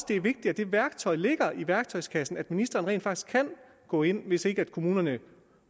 det er vigtigt at det værktøj ligger i værktøjskassen nemlig at ministeren rent faktisk kan gå ind hvis ikke kommunerne